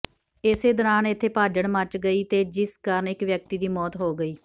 ਇਸੇ ਦੌਰਾਨ ਇਥੇ ਭਾਜੜ ਮੱਚ ਗਈ ਤੇ ਜਿਸ ਕਾਰਨ ਇਕ ਵਿਅਕਤੀ ਦੀ ਮੌਤ ਹੋ ਗਈ